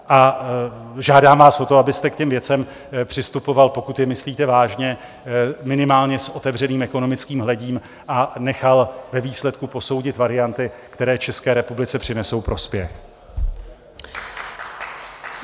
A žádám vás o to, abyste k těm věcem přistupoval, pokud je myslíte vážně, minimálně s otevřeným ekonomickým hledím a nechal ve výsledku posoudit varianty, které České republice přinesou prospěch.